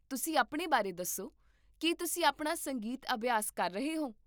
ਤੁਸੀਂ ਆਪਣੇ ਬਾਰੇ ਦੱਸੋ, ਕੀ ਤੁਸੀਂ ਆਪਣਾ ਸੰਗੀਤ ਅਭਿਆਸ ਕਰ ਰਹੇ ਹੋ?